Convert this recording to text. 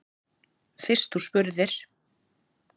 Fyrst þú spurðir.